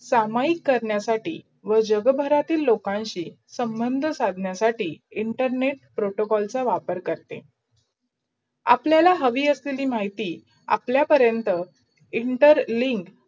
समई कारणासाठी व जगभटातील लोकांशी संबंध साधनासाठी internetprotocall चा वापर करते. आपलायला हवी आश्लेली माहिती आपल्या पर्यंत inter link